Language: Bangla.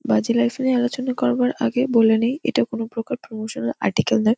বাজী লাইফ নিয়ে আলোচনা করার পর আগে বলে নেই এটা কোনো প্রকার প্রমোশনাল আর্টিকেল না।